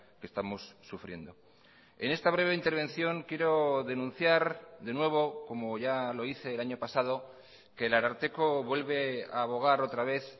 que estamos sufriendo en esta breve intervención quiero denunciar de nuevo como ya lo hice el año pasado que el ararteko vuelve a abogar otra vez